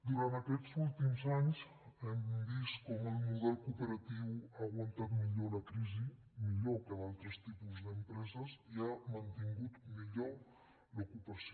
durant aquests últims anys hem vist com el model cooperatiu ha aguantat millor la crisi millor que altres tipus d’empreses i ha mantingut millor l’ocupació